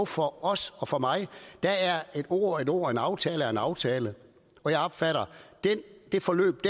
for os og for mig er er at et ord er et ord og en aftale er en aftale og jeg opfatter det forløb